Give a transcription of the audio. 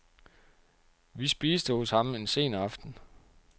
Vi spiste hos ham en sen aften.